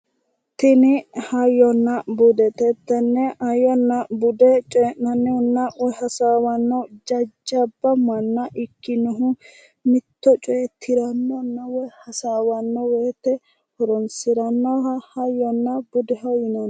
Tini hayyonna budete tenne hayyonna bude coyi'nanninna woyi hasaawanno jajjabba manna ikkinohu mitto coye tirannonna woyi hasaawannno woyite horoonsirannoha hayyonna budeho yinanni